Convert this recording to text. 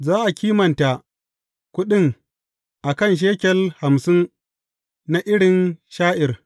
Za a kimanta kuɗin a kan shekel hamsin na irin sha’ir.